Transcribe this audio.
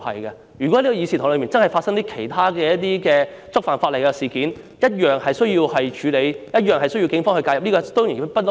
如果在這個議事堂內，真的發生觸犯法例的事件，一樣需要處理，一樣需要警方介入。